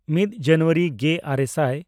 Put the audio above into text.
ᱢᱤᱫ ᱡᱟᱱᱩᱣᱟᱨᱤ ᱜᱮᱼᱟᱨᱮ ᱥᱟᱭ